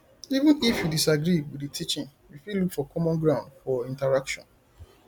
even if you disagree with di teaching you fit look for common ground fot interaction